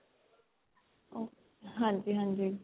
ok ਹਾਂਜੀ ਹਾਂਜੀ